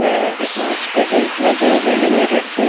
में कांच के गेट लगे हुए हैं मिरर के--